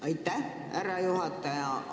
Aitäh, härra juhataja!